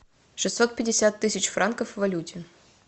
шестьсот пятьдесят тысяч франков в валюте